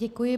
Děkuji.